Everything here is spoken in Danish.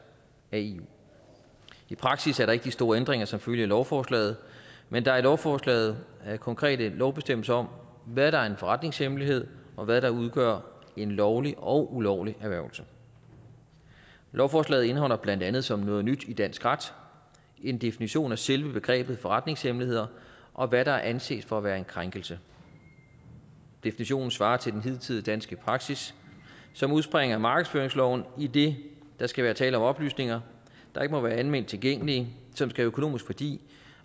af eu i praksis er der ikke de store ændringer som følge af lovforslaget men der er i lovforslaget konkrete lovbestemmelser om hvad der er en forretningshemmelighed og hvad der udgør en lovlig og ulovlig erhvervelse lovforslaget indeholder blandt andet som noget nyt i dansk ret en definition af selve begrebet forretningshemmeligheder og hvad der anses for at være en krænkelse definitionen svarer til den hidtidige danske praksis som udspringer af markedsføringsloven idet der skal være tale om oplysninger der ikke må være alment tilgængelige som skal have økonomisk værdi